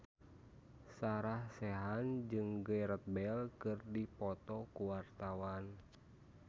Sarah Sechan jeung Gareth Bale keur dipoto ku wartawan